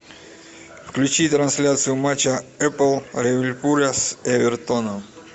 включи трансляцию матча эпл ливерпуля с эвертоном